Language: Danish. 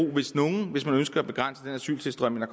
hvis man ønsker at begrænse den asyltilstrømning